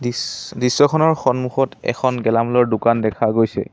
ইছ দৃশ্যখনৰ সন্মুখত এখন গেলামালৰ দোকান দেখা গৈছে।